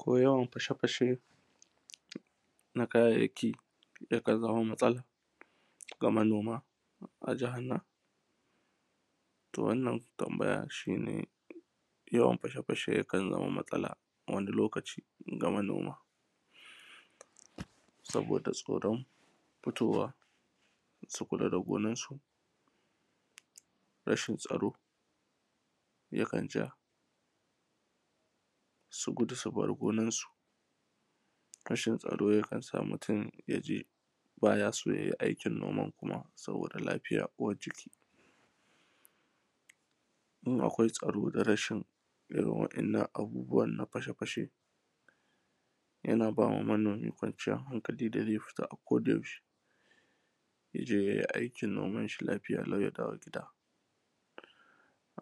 ko yawan fashe fashe na kayayyaki yakan zama matsala ga manoma a jahan nan to wannan tambaya shine yawan fashe fashe yakan zama matsala wani lokaci ga manoma saboda tsoran fitowa su kula da gonarsu rashin tsaro yakan ja su gudu su bar gonarsu rashin tsaro yakan sa mutun ya ji ba ya so ya yi aikin noman kuma saboda lafiya uwar jiki in akwai tsaro da rashin irin wa’innan abubuwan na fashe fashe yana ba wa manomi kwanciyar hankali da zai fita a koda yaushe ya je yai aikin noman shi lafiya lau ya dawo gida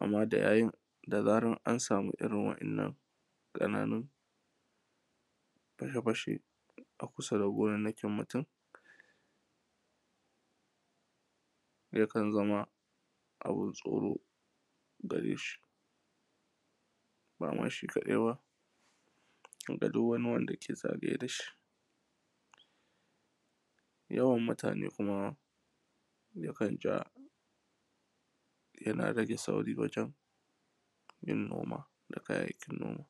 amma da zarar an samu irin wa’innan ƙananun fashe fashe a kusa da gonannakin mutun yakan zama abin tsoro gare shi bama shi kaɗai ba harda duk wani wanda yake zagaye da shi yawan mutane kuma yakan ja yana rage sauri wajan yin noma da kayayyakin noma